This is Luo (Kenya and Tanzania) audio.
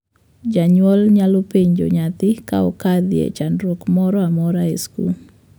Jonyuol nyalo penjo nyathi ka okadhoe chandruok moro amoro e skul.